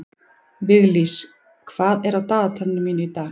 Viglís, hvað er á dagatalinu mínu í dag?